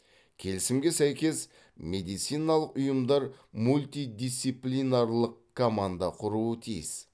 келісімге сәйкес медициналық ұйымдар мультидисциплинарлық команда құруы тиіс